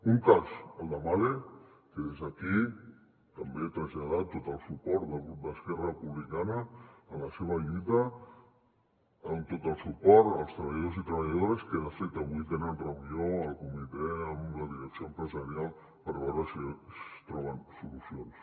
un cas el de mahle que des d’aquí també traslladem tot el suport del grup d’esquerra republicana en la seva lluita amb tot el suport als treballadors i treballadores que de fet avui tenen reunió el comitè amb la direcció empresarial per veure si es troben solucions